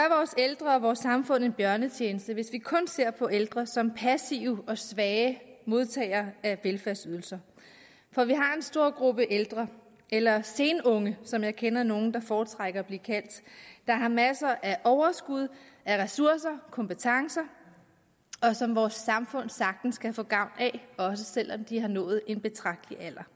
ældre og vores samfund en bjørnetjeneste hvis vi kun ser på ældre som passive og svage modtagere af velfærdsydelser for vi har en stor gruppe ældre eller senunge som jeg kender nogle der foretrækker at blive kaldt der har masser af overskud ressourcer og kompetencer og som vores samfund sagtens kan få gavn af også selv om de har nået en betragtelig alder